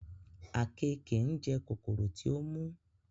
àkekèé ńjẹ kòkòrò tí ó mú